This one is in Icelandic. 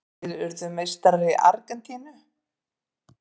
Hverjir urðu meistarar í Argentínu?